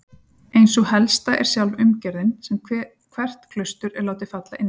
Ein sú helsta er sjálf umgerðin sem hvert klaustur er látið falla inní.